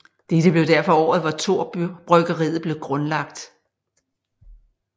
Dette blev derfor året hvor Thor bryggeriet blev grundlagt